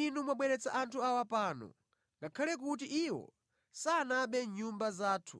Inu mwabweretsa anthu awa pano, ngakhale kuti iwo sanabe mʼnyumba zathu